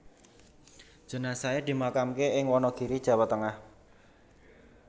Jenazahe dimakamke ing Wonogiri Jawa Tengah